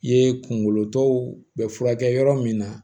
Ye kunkolo tɔw bɛ furakɛ yɔrɔ min na